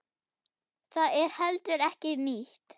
Það er heldur ekki nýtt.